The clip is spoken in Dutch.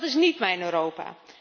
Dat is niet mijn Europa!